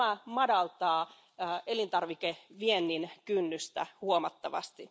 Tämä madaltaa elintarvikeviennin kynnystä huomattavasti.